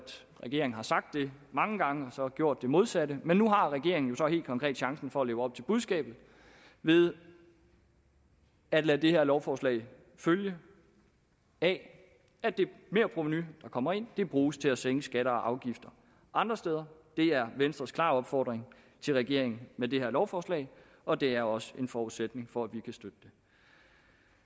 regeringen har sagt noget mange gange og gjort det modsatte men nu har regeringen jo så helt konkret chancen for at leve op til budskabet ved at lade det her lovforslag følge af at det merprovenu der kommer ind bruges til at sænke skatter og afgifter andre steder det er venstres klare opfordring til regeringen i med det her lovforslag og det er også en forudsætning for at vi kan støtte det